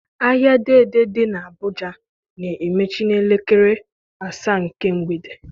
Ahịa Dei Dei dị n'Abụja na-emechi n'elekere asaa nke mgbede.